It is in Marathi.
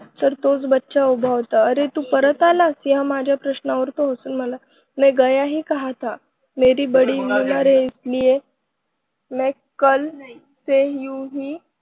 तर तोच बच्चा उभा होता अरे तू परत आलास? ह्या माझ्या प्रश्नावर तो हसून म्हणाला मैं गया ही कहाँ था? मेरा बड़ी बीमार है, इसलिए मैं कल से यहीं हूँ.